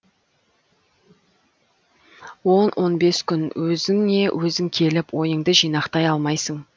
он он бес күн өзіңе өзің келіп ойыңды жинақтай алмайсың